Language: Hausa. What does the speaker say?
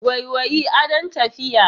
Waiwayi, adon tafiya.